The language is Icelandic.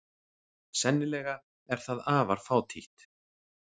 Sennilega er það afar fátítt.